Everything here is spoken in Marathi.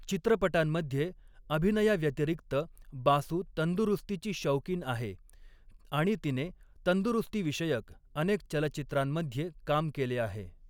चित्रपटांमध्ये अभिनयाव्यतिरिक्त बासू तंदुरुस्तीची शौकीन आहे आणि तिने तंदुरुस्तीविषयक अनेक चलचित्रांमध्ये काम केले आहे.